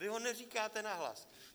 Vy ho neříkáte nahlas!